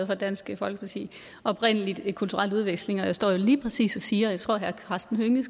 fra dansk folkeparti oprindelig en kulturel udveksling og jeg står jo lige præcis her og siger og jeg tror herre karsten hønge